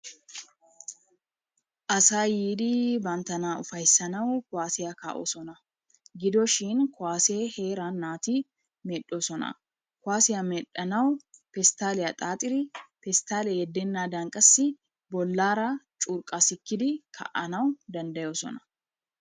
Asay yiidii banttana ufayisanawu kuwaasiya kaa"oosona. Gido shin kuwaasee heeran naati medhdhoosona. Kuwaasiya medhdhanawu pestaaliya xaaxidi pestaalee yeddenaadan qassi bollaara curqaa sikkidi kaa"anawu dandayoosona.